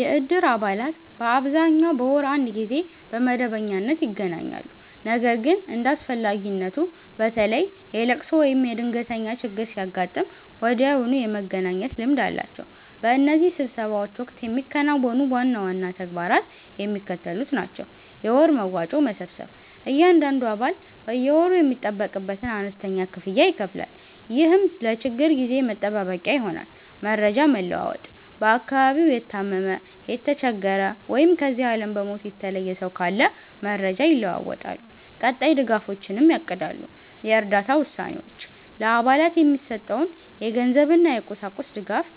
የእድር አባላት በአብዛኛው በወር አንድ ጊዜ በመደበኛነት ይገናኛሉ። ነገር ግን እንደ አስፈላጊነቱ፣ በተለይ የልቅሶ ወይም የድንገተኛ ችግር ሲያጋጥም ወዲያውኑ የመገናኘት ልምድ አላቸው። በእነዚህ ስብሰባዎች ወቅት የሚከናወኑ ዋና ዋና ተግባራት የሚከተሉት ናቸው፦ የወር መዋጮ መሰብሰብ፦ እያንዳንዱ አባል በየወሩ የሚጠበቅበትን አነስተኛ ክፍያ ይከፍላል፤ ይህም ለችግር ጊዜ መጠባበቂያ ይሆናል። መረጃ መለዋወጥ፦ በአካባቢው የታመመ፣ የተቸገረ ወይም ከዚህ ዓለም በሞት የተለየ ሰው ካለ መረጃ ይለዋወጣሉ፤ ቀጣይ ድጋፎችንም ያቅዳሉ። የእርዳታ ውሳኔዎች፦ ለአባላት የሚሰጠውን የገንዘብና የቁሳቁስ ድጋፍ